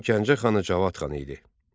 Bu zaman Gəncə xanı Cavad xan idi.